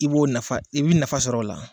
I b'o nafa i bɛ nafa sɔrɔ o la